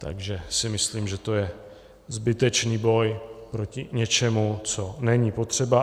Takže si myslím, že to je zbytečný boj proti něčemu, co není potřeba.